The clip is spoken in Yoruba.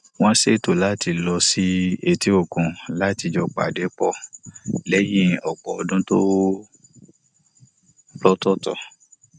wọn ṣètò láti lọ sí etíòkun láti jọ pa pọ lẹyìn ọpọ ọdún lọtọọtọ